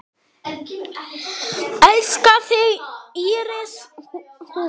Elska þig, Íris Rún.